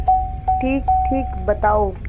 ठीकठीक बताओ